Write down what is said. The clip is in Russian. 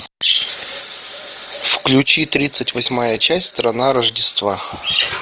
включи тридцать восьмая часть страна рождества